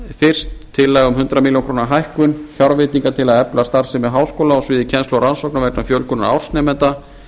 fyrst tillaga um hundrað milljónir króna hækkun fjárveitinga til að efla starfsemi háskóla á sviði kennslu og rannsókna vegna fjölgunar ársnemenda